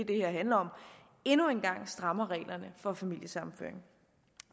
det her handler om endnu en gang strammer reglerne for familiesammenføring